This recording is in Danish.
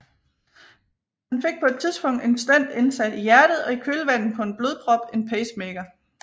Han fik på et tidspunkt en stent indsat i hjertet og i kølvandet på en blodprop en pacemaker